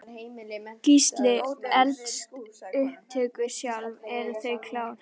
Gísli: Eldsupptök sjálf, eru þau klár?